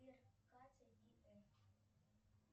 сбер катя и эф